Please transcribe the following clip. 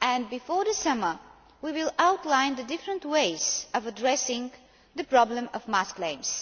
and before the summer we will outline the different ways of addressing the problem of mass claims.